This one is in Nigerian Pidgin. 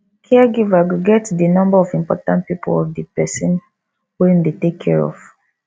caregiver go get di number of important people of di person wey im dey take care of